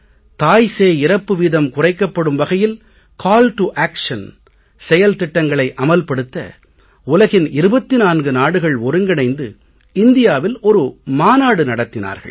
தாய்சேய் இறப்பு வீதம் குறைக்கப்படும் வகையில் கால் டோ ஆக்ஷன் செயல்திட்டங்களை அமல் படுத்த உலகின் 24 நாடுகள் ஒருங்கிணைந்து இந்தியாவில் ஒரு மாநாடு நடத்தினார்கள்